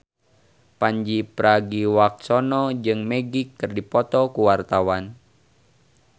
Pandji Pragiwaksono jeung Magic keur dipoto ku wartawan